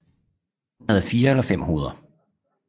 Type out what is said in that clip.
Han havde 4 eller 5 hoveder